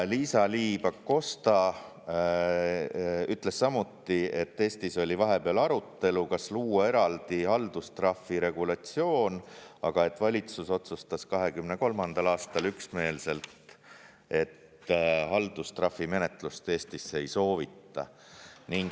Liisa-Ly Pakosta ütles samuti, et Eestis oli vahepeal arutelu, kas luua eraldi haldustrahvi regulatsioon, aga valitsus otsustas 2023. aastal üksmeelselt, et haldustrahvimenetlust Eestisse ei soovita.